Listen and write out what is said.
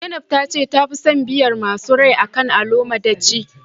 zainab tace ta fi son biyar masu rai akan alomo daci